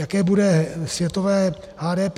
Jaké bude světové HDP?